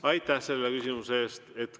Aitäh selle küsimuse eest!